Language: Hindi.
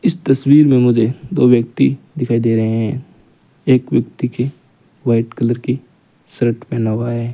इस तस्वीर में मुझे दो व्यक्ति दिखाई दे रहे हैं एक व्यक्ति के व्हाइट कलर की शर्ट पहना हुआ है।